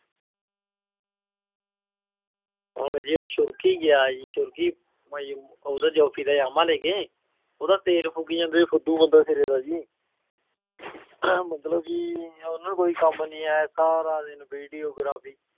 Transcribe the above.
ਹੁਣ ਜੀ ਉਹ ਸੁਲਕੀ ਗਿਆ ਜੀ ਸੁਲਕੀ ਉਹਦਾ ਦਾ ਜਾਮ੍ਹਾ ਲੈ ਕੇ, ਉਹਦਾ ਤੇਲ ਫੂਕੀ ਜਾਂਦਾ, ਫੁਦੂ ਬਮਦਾ ਸਿਰੇ ਦਾ ਜੀ ਮਤਲਬ ਕਿ ਉਹਨੂੰ ਕੋਈ ਕੰਮ ਨੀ ਹੈ ਸਾਰਾ ਦਿਨ videography